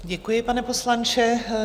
Děkuji, pane poslanče.